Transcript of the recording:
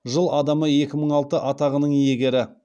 жыл адамы екі мың алты атағының иегері